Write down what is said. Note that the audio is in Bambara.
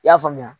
I y'a faamuya